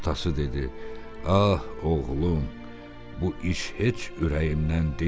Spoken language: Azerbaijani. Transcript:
Atası dedi: "Ah, oğlum, bu iş heç ürəyimdən deyil.